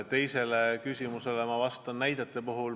Teisele küsimusele, mis puudutas näiteid, ma vastan nii.